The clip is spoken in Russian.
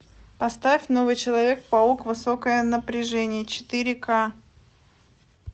поставь новый человек паук высокое напряжение четыре ка